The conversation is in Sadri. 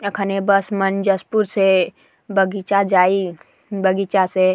ये खानि बस मन जसपुर से बगीचा जाई बगीचा से--